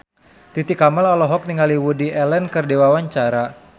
Titi Kamal olohok ningali Woody Allen keur diwawancara